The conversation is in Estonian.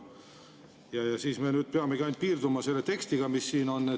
Me peamegi piirduma ainult selle tekstiga, mis siin on.